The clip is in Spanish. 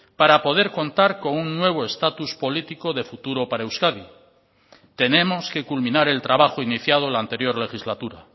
para poder contar con un nuevo estatus político de futuro para euskadi tenemos que culminar el trabajo iniciado la anterior legislatura